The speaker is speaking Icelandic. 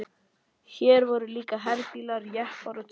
Hér voru líka herbílar, jeppar og trukkar.